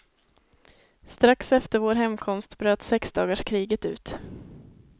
Strax efter vår hemkomst bröt sexdagarskriget ut.